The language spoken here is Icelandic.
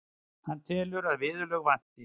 Hann telur að viðurlög vanti.